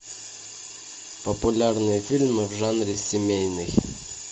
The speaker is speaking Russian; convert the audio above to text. популярные фильмы в жанре семейный